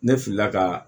Ne filila ka